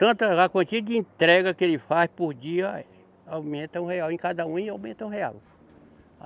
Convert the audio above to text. Tanto a quantia de entrega que ele faz por dia, eh, aumenta um real, em cada um e aumenta um real.